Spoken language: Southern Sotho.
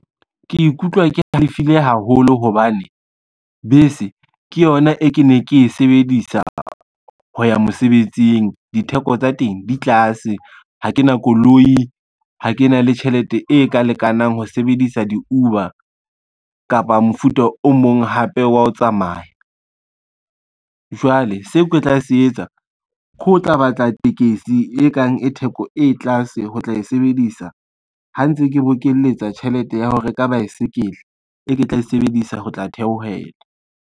Ke ikutlwa ke halefile haholo hobane bese ke yona e ke ne ke e sebedisa ho ya mosebetsing, ditheko tsa teng di tlase, ha ke na koloi, ha ke na le tjhelete e ka lekanang ho sebedisa di-Uber kapa mofuta o mong hape wa ho tsamaya. Jwale se ke tla se etsa ke ho tla batla tekesi e kang e theko e tlase ho tla e sebedisa ha ntse ke bokeletsa tjhelete ya ho reka baesekele, e ke tla e sebedisa ho tla theohela.